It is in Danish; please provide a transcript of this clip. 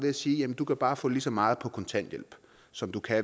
at sige du kan bare få lige så meget på kontanthjælp som du kan